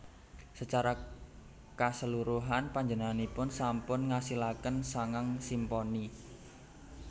Sacara kaseluruhan panjenenganipun sampun ngasilaken sangang simponi